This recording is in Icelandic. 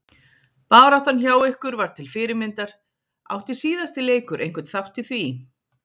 Baráttan hjá ykkur var til fyrirmyndar, átti síðasti leikur einhvern þátt í því?